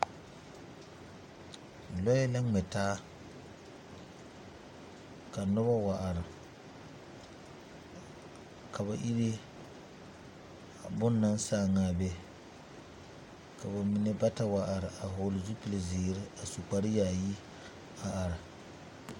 Loɛ la ŋmɛ taa ka noba wa are ka ba ere a boŋ naŋ sãã a be ka ba mine bata wa are a vɔgle zupilzeere a su kpare yaayi a are.